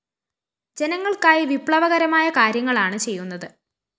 ജനങ്ങള്‍ക്കായി വിപ്ലവകരമായ കാര്യങ്ങളാണ് ചെയ്യുന്നത്